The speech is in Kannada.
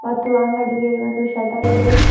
ಮತ್ತು ಅಂಗಡಿಗೆ ಒಂದು ಶಟರ್ ಇದೆ.